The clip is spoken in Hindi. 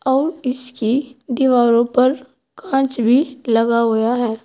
और इसकी दीवारों पर कांच भी लगा हुआ है।